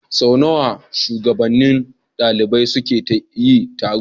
Sau nawa shugabannin ɗalibai suke yi taro?